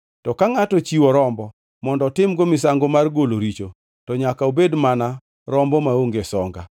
“ ‘To ka ngʼato ochiwo rombo mondo otim-go misango mar golo richo, to nyaka obed mana rombo maonge songa.